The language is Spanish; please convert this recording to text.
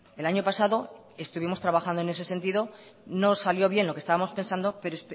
el año pasado estuvimos trabajando en ese sentido no salió bien lo que estábamos pensado pero